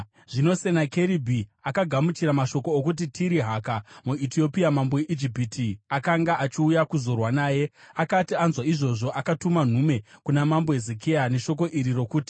Zvino Senakeribhi akagamuchira mashoko okuti Tirihaka, muEtiopia mambo weIjipiti, akanga achiuya kuzorwa naye. Akati anzwa izvozvo, akatuma nhume kuna mambo Hezekia neshoko iri rokuti: